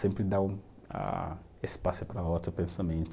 Sempre dar o ah, espaço para outro pensamento.